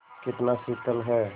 कितना शीतल है